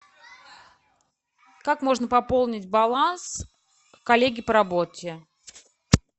как можно пополнить баланс коллеге по работе